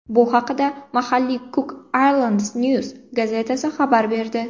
Bu haqda mahalliy Cook Islands News gazetasi xabar berdi .